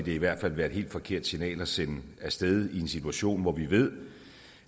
i hvert fald være et helt forkert signal at sende af sted i en situation hvor vi ved